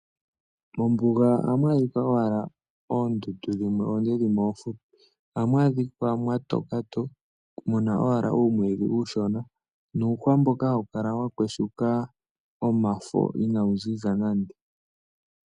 Mombunga oha mwadhika owala ondundu dhimwe onde dhimwe ofupi, oha mwadhika mwatoka to muna owala uumwidhi ushona, nuuhwa mboka hawukala wakweshuka omafo inawunzinza nande.